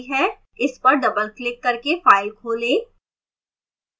इस पर double click करके file खोलें